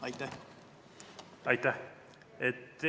Aitäh!